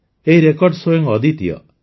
ଏହି ରେକର୍ଡ ସ୍ୱୟଂ ଅଦ୍ୱିତୀୟ